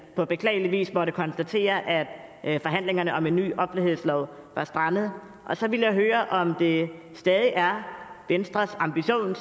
på beklagelig vis måtte konstatere at forhandlingerne om en ny offentlighedslov var strandet og så vil jeg høre om det stadig er venstres ambition at